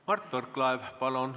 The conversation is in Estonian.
Mart Võrklaev, palun!